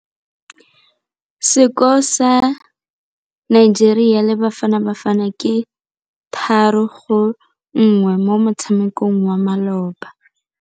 Sekôrô sa Nigeria le Bafanabafana ke 3-1 mo motshamekong wa malôba.